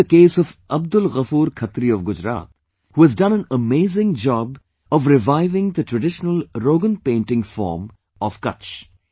Take the case of Abdul Ghafoor Khatri of Gujarat, whohas done an amazing job of reviving the traditional Rogan painting form of Kutch